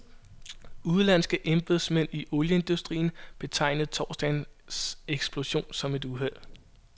Udenlandske embedsmænd i olieindustrien betegnede torsdagens eksplosion som et uheld.